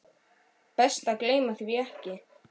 Best að gleyma því ekki.